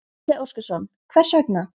Gísli Óskarsson: Hvers vegna?